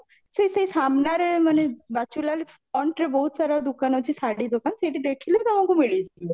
ସେଇ ସେଇ ସାମ୍ନାରେ ମାନେ ବାଚୁଲାଲ front ରେ ବହୁତ ସାରା ଦୋକାନ ଅଛି ଶାଢୀ ଦୋକାନ ସେଇଠି ଦେଖିଲେ ତମକୁ ମିଳିଯିବ